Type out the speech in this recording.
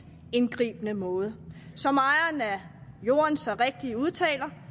indgribende måde som ejeren af jorden så rigtigt udtaler